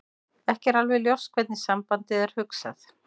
Ekki er alveg ljóst hvernig sambandið er hugsað.